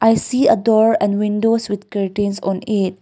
see a door and windows with curtains on it.